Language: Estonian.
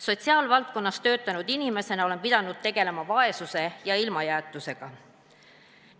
Sotsiaalvaldkonnas töötanud inimesena olen pidanud tegelema vaesuse ja ilmajäetusega.